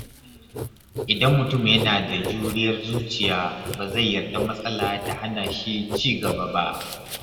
Idan mutum yana da juriyar zuciya, ba zai yarda matsala ta hana shi ci gaba ba.